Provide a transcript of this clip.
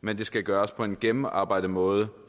men det skal gøres på en gennemarbejdet måde